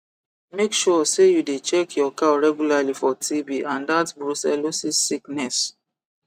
make sure say you dey check your cow regularly for tb and that brucellosis sickness